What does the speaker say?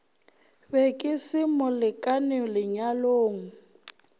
be ke se molekane lenyalong